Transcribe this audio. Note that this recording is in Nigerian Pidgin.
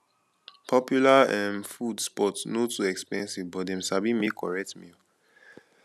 popular um food spot no too expensive but dem sabi make correct meal